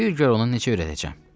Bir gör onu necə öyrədəcəm."